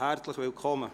Herzlich willkommen!